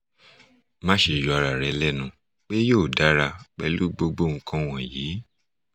maṣe yọ ara rẹ lẹnu pe yoo dara pẹlu gbogbo nkan wọnyi